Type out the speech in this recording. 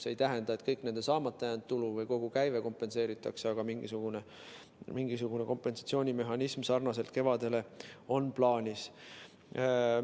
See ei tähenda, et kogu nende saamata jäänud tulu või kogu käive kompenseeritakse, aga mingisugune kompensatsioonimehhanism sarnaselt sellega, mis oli kevadel, on plaanis.